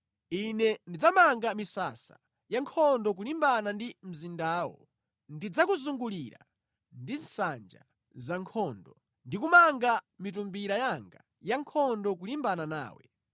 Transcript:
Ine ndidzamanga misasa ya nkhondo kulimbana ndi mzindawo; ndidzakuzungulira ndi nsanja za nkhondo ndi kumanga mitumbira yanga ya nkhondo kulimbana nawe.